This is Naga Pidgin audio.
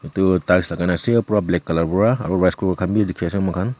edu tiles lagai na ase pura black color para aru rice cooker khan b dikhi ase moikhan.